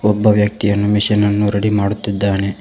ಒಬ್ಬ ವ್ಯಕ್ತಿಯನ್ನು ಮಿಷನ್ ಅನ್ನು ರೆಡಿ ಮಾಡುತ್ತಿದ್ದಾನೆ.